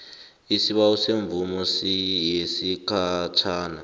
isibawo semvumo yesikhatjhana